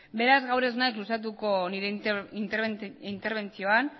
beraz gaur ez naiz luzatuko nire interbentzioan